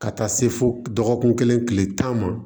Ka taa se fo dɔgɔkun kelen tile tan ma